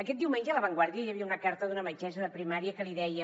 aquest diumenge a la vanguardia hi havia una carta d’una metgessa de primària que li deia